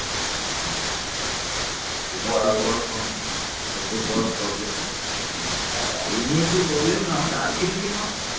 বর্তমান আধুনিক বাংলাদেশের কিছু অংশ এবং ভারতের পশ্চিমবঙ্গের কিছু অংশ নিয়ে ভারতীয় উপমহাদেশের পূর্বাংশে বঙ্গ রাজ্য গঠিত হয়েছিল